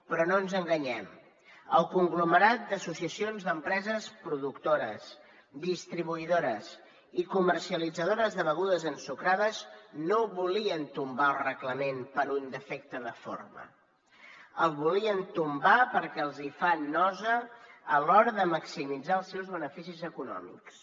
però no ens enganyem el conglomerat d’associacions d’empreses productores distribuïdores i comercialitzadores de begudes ensucrades no volien tombar el reglament per un defecte de forma el volien tombar perquè els fa nosa a l’hora de maximitzar els seus beneficis econòmics